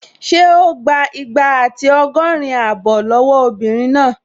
Ṣé o gbà igba àti ọgọ́rin abọ́ lọ́wọ́ obìnrin náà?